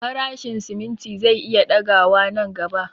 Farashin simimti zai iya ɗaga wa nan gaba